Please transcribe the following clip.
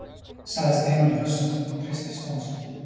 sagði Steinunn höst og hristi son sinn.